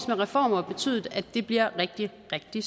med reformer betydet at det bliver rigtig rigtig